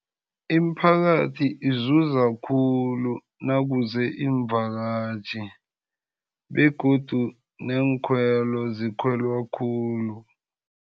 Imiphakathi izuza khulu nakuze iimvakatjhi, begodu neenkhwelo zikhwelwa khulu.